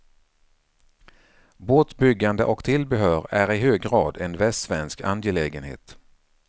Båtbyggande och tillbehör är i hög grad en västsvensk angelägenhet.